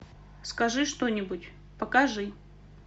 скажи что нибудь покажи